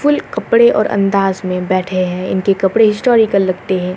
Full कपडे और अंदाज़ में बैठें हैं इनके कपड़े हिस्टोरिकल लगते हैं।